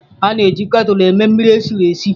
A na-eji ketulụ eme mmiri esi mmiri.